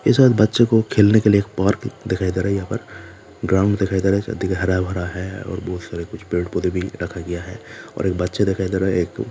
एक के साथ बच्चे को खेलने के लिए एक पार्क दिखाई दे रहा है पर ग्राउंड दिखाई दे रहा है हरा भरा है और बहुत सारे कुछ पेड़ पौधे भी रखा गया है और एक बच्चे दिखाई दे रहा है।